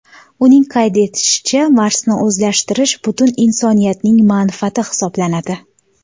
Uning qayd etishicha, Marsni o‘zlashtirish butun insoniyatning manfaati hisoblanadi.